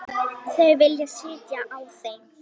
Þau vilja sitja á þeim.